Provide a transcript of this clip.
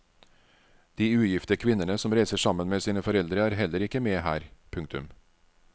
De ugifte kvinnene som reiser sammen med sine foreldre er heller ikke med her. punktum